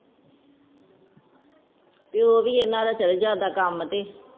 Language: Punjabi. ਪਿਯੋ ਵੀ ਇਨ੍ਹਾਂ ਦਾ ਚਲ ਜਾਂਦਾ ਕਾਮ ਤੇ